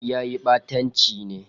Yayi ɓatanci ne.